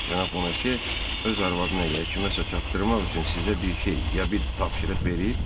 Cənab Bonase öz arvadına yə kiməsə çatdırmaq üçün sizə bir şey ya bir tapşırıq verib?